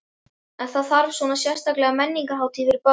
En þarf að hafa svona sérstaka menningarhátíð fyrir börn?